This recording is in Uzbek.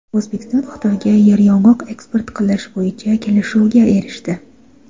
O‘zbekiston Xitoyga yeryong‘oq eksport qilish bo‘yicha kelishuvga erishdi.